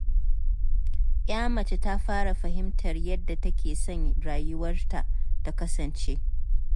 Ya mace ta fara fahimtar yadda take son rayuwarta ta kasance.